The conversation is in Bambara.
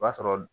O b'a sɔrɔ